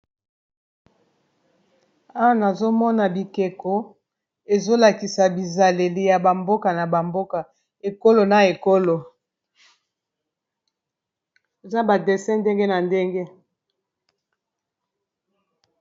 Awa nazomona bikeko ezolakisa bizaleli ya bamboka na bamboka ekolo na ekolo Eza ba dessin ndenge na ndenge.